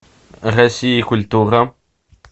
россия культура